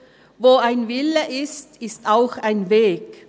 Wo ein Wille ist, ist auch ein Weg.